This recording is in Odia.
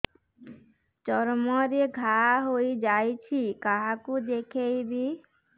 ଚର୍ମ ରେ ଘା ହୋଇଯାଇଛି କାହାକୁ ଦେଖେଇବି